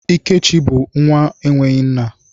Ikechi bụ nwa enweghị nna.